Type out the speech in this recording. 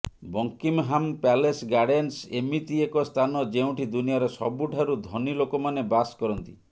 Buckingham Palace Gardens ଏମିତି ଏକ ସ୍ଥାନ ଯେଉଁଠି ଦୁନିଆର ସବୁଠାରୁ ଧନୀ ଲୋକମାନେ ବାସ କରନ୍ତି